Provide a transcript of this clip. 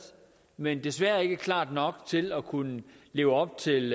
men desværre ikke klart nok til at kunne leve op til